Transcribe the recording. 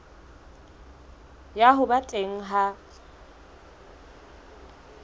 ya ho ba teng ha